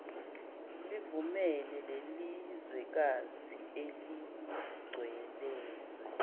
livumele lelizwekazi eseligcwelezwe